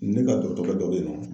Ne ka dɔgɔtɔrɔkɛ dɔ be yen nɔ.